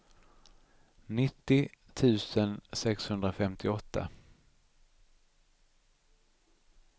nittio tusen sexhundrafemtioåtta